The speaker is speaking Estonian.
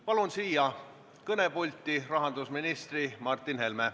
Palun siia kõnepulti rahandusministri Martin Helme.